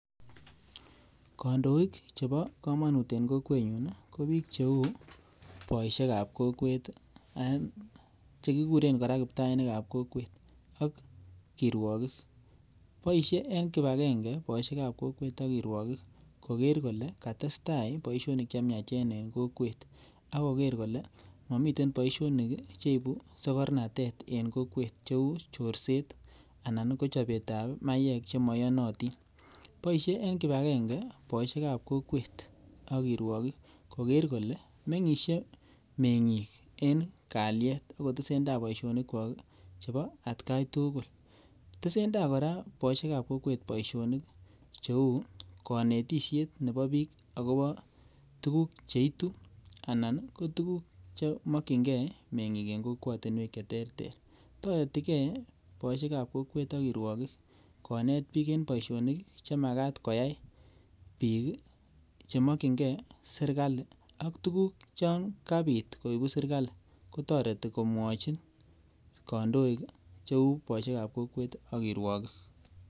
Kandoik chebo komonut en kokwenyun kou boishekab kokwet i,ak chekikuren kora kiptainikab kokwet ak kirwokik, boishee en kibang'eng'e booshiek ab kokwet ak kirwogiik kogeer kole katestaa tuguk chemiachen en kokwet, ak kogeer kole momiten boishonik cheibu sekornatet en kokwet. Cheu corset anan ko chobetab maywek chemoiyonotin. Boishie en kibag'enge boishiek ab kokwet ak kirwogiik kogeer kole mengisie meng'ik en kalyet okotesentai boishonichwak chebo etkan tuguul. Tesentai kora booishiekab kokwet booshonik cheu konetisiet nebo book akobo tuguuk cheituu anan ko tuguuk chemokyingei meng'iik en kokwotinwek cheteter. Toretii gei boishekab kokwet ak kirwogiik konetbiik en booshonik chemagat koyai biik. Chemokyingei serkali ak tuguuk Chon kabiit kooibu serkalii kotoretii komwochin kondoik cheu boishiekab kokwet ak kirwogiik .